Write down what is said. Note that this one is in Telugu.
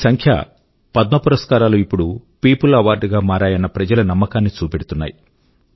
ఈ సంఖ్య పద్మ పురస్కారాలు ఇప్పుడు peopleస్ అవార్డ్ గా మారాయన్న ప్రజల నమ్మకాన్ని చూపెడుతుంది